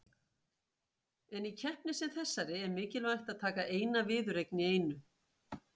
En í keppni sem þessari er mikilvægt að taka eina viðureign í einu.